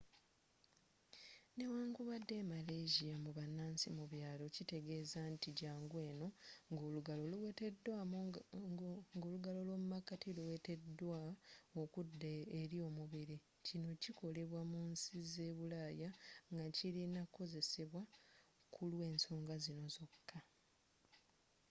newankubadde e malaysia mubanansi mu byalo kitegeza nti jangu eno nga olugalo lwomumakati nga luweteddwa okudda eri omubiri kino kikolebwa mu nsi ze bulaya naye kilina kozesebwa kulwensoga zino zoka